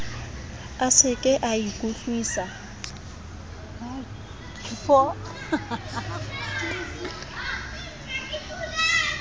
a se ke a ikutlwusisa